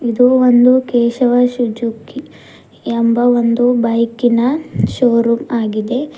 ಇದು ಒಂದು ಕೇಶವ ಸುಜುಕಿ ಎಂಬ ಒಂದು ಬೈಕಿನ ಶೋ ರೂಮ್ ಆಗಿದೆ.